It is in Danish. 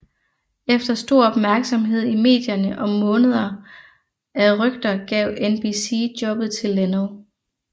Efter stor opmærksomhed i medierne og måneder af rygter gav NBC jobbet til Leno